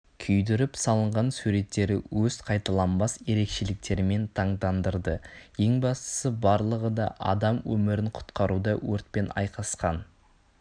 күйдіріп салынған суреттері өз қайталанбас ерекшеліктерімен таңдандырды ең бастысы барлығыда адам өмірін құтқаруда өртпен айқасқан